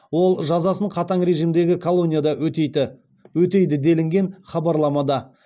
ол жазасын қатаң режимдегі колонияда өтейді делінген хабарламада